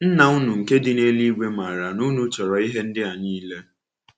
Nna unu nke dị n’eluigwe maara na unu chọrọ ihe ndị a niile.”